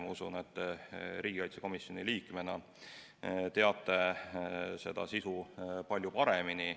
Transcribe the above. Ma usun, et riigikaitsekomisjoni liikmena teate teie seda sisu palju paremini.